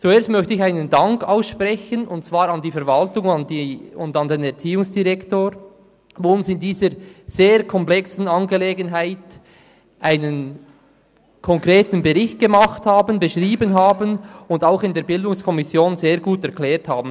Zuerst möchte ich einen Dank aussprechen, und zwar an die Verwaltung und an den Erziehungsdirektor, die uns in dieser sehr konkreten Angelegenheit einen Bericht verfasst haben, den sie auch in der BiK sehr gut erklärt haben.